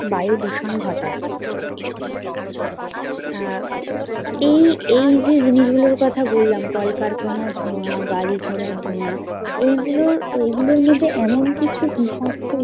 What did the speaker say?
বায়ু দূষণ ঘটায়। আহ এই এই যে জিনিস গুলোর কথা বললাম কলকারখানার ধোঁয়া গাড়ি ঘোড়ার ধোঁয়া এই গুলো এই গুলোর মধ্যে এমন কিছু বিষাক্ত